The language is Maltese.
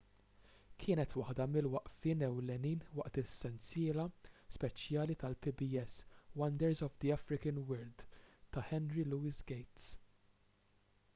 kienet waħda mill-waqfiet ewlenin waqt il-sensiela speċjali tal-pbs wonders of the african world ta' henry louis gates